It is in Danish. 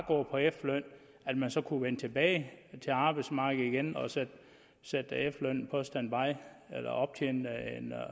på efterløn så at vende tilbage til arbejdsmarkedet igen og så sætte efterlønnen på standby eller optjene en